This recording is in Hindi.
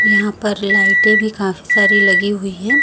यहां पर लाइटे भी काफी सारी लगी हुई है।